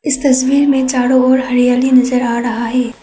इस तस्वीर में चारो ओर हरियाली नजर आ रहा है।